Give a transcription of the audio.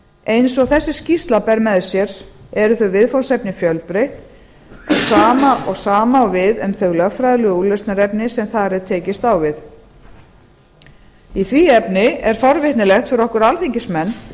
eins og þessi skýrsla ber með sér eru þau viðfangsefni fjölbreytt og sama á við um þau lögfræðilegu úrlausnarefni sem þar er tekist á við í því efni er forvitnilegt fyrir okkur alþingismenn